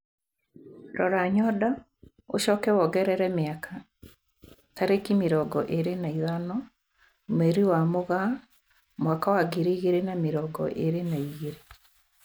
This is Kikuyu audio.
Rora nyondo ucoke wongerere miaka, tariki mirongo iri na ithano mweri wa Mugaa mwaka wa ngiri igiri na mirongo irir na igiri